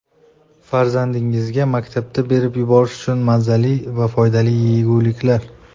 Farzandingizga maktabga berib yuborish uchun mazali va foydali yeguliklar.